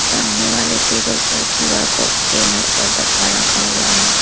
सामने वाले टेबल पर क्यू_आर कोड स्कैनर और डब्बा रखा हुआ है।